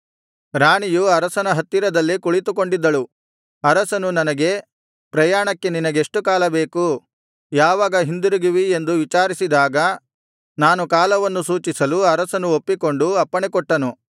ರಾಣಿಯು ಅರಸನ ಹತ್ತಿರದಲ್ಲೇ ಕುಳಿತುಕೊಂಡಿದ್ದಳು ಅರಸನು ನನಗೆ ಪ್ರಯಾಣಕ್ಕೆ ನಿನಗೆಷ್ಟು ಕಾಲ ಬೇಕು ಯಾವಾಗ ಹಿಂದಿರುಗುವಿ ಎಂದು ವಿಚಾರಿಸಿದಾಗ ನಾನು ಕಾಲವನ್ನು ಸೂಚಿಸಲು ಅರಸನು ಒಪ್ಪಿಕೊಂಡು ಅಪ್ಪಣೆಕೊಟ್ಟನು